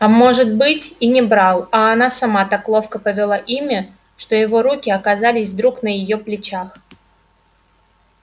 а может быть и не брал а она сама так ловко повела ими что его руки оказались вдруг на её плечах